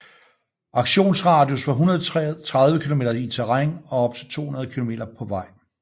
Aktionsradius var 130 km i terræn og op til 210 km på vej